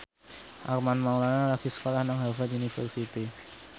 Armand Maulana lagi sekolah nang Harvard university